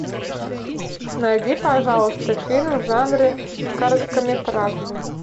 найди пожалуйста фильм в жанре короткометражный